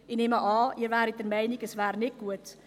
– Ich nehme an, Sie wären der Meinung, es wäre nicht gut.